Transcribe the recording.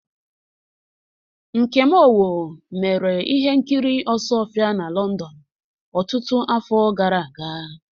Nkem Owoh mere ihe nkiri Osuofia na London ọtụtụ afọ gara aga.